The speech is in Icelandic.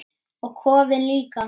Og kofinn líka!